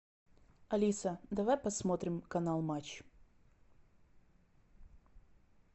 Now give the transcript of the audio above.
алиса давай посмотрим канал матч